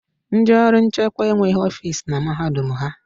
Ndị ọrụ nchekwa enweghị ọfisi na mahadum ha